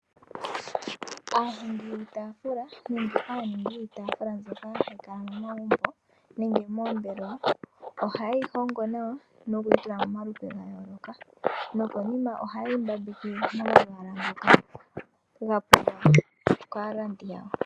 Aahongi yiitafula nenge aaningi yiitafula mbyoka hayi kala momagumbo nenge moombelewa ohayeyi hongo nawa noku yitula momalupe ngoka nokonima ohayeyi mbambeke momalwaala ngoka gapulwa kaalandi yawo.